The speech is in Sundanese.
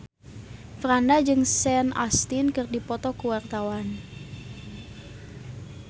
Franda jeung Sean Astin keur dipoto ku wartawan